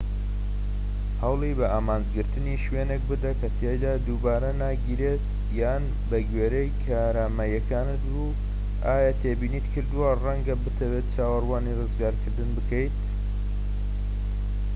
هەوڵی بە ئامانجگرتنی شوێنێک بدە کە تیایدا دووبارە ناگیرێیت یان بەگوێرەی کارامەییەکانت و ئایا تێبینیت کردووە ڕەنگە بتەوێت چاوەڕوانی ڕزگارکردن بکەیت